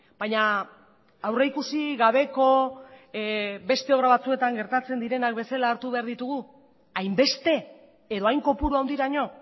baina aurrikusi gabeko beste obra batzuetan gertatzen direnak bezala hartu behar ditugu hainbeste edo hain kopuru handiraino